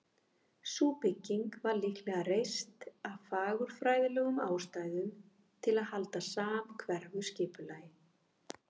Sú bygging var líklega reist af fagurfræðilegum ástæðum, til að halda samhverfu skipulagi.